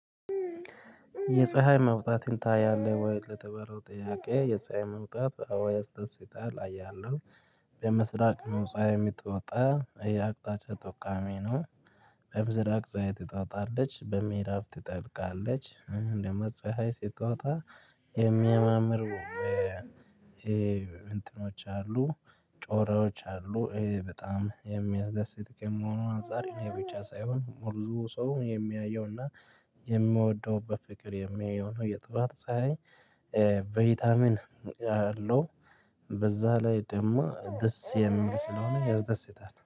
የፀሀይ መውጣትን ታያለህ ወይስ ለተባለው ጥያቄ የፀሀይ መውጣት አወ ያስደስታል አያለው በምስራቅ ነው ፀሀይ የምትወጣ የአቅጣጫ ተቋሚ ነው በምስራቅ ፀሀይ ትወጣለች በምዕራብ ትጠልቃለች ደግሞ ፀሀይ ስትወጣ የሚያማምሩ እንትኖች አሉ ጮራዎች አሉ በጣም የሚያስደስት ከመሆኑ አንፃር የኔ ብቻ ሳይሆን ሁሉም ሰው የሚያየውና የምወደው በፍቅር የሚያየው ነው የጠዋት ፀሀይ ቫይታሚን ያለው በዛ ላይ ደግሞ ደስ የሚል ስለሆነ ያስደስታል።